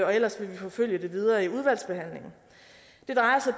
og ellers vil vi forfølge det videre i udvalgsbehandlingen det drejer sig